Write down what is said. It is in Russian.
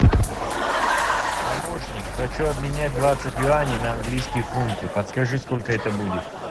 помощник хочу обменять двадцать юаней на английские фунты подскажи сколько это будет